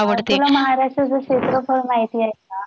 तुला महाराष्ट्राच क्षेत्रफळ महिती? आवडते